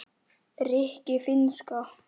rikki- finnska